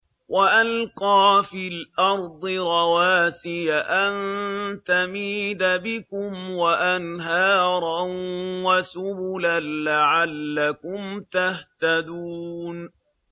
وَأَلْقَىٰ فِي الْأَرْضِ رَوَاسِيَ أَن تَمِيدَ بِكُمْ وَأَنْهَارًا وَسُبُلًا لَّعَلَّكُمْ تَهْتَدُونَ